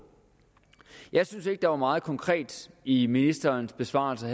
jeg synes ikke at der var meget konkret i ministerens besvarelse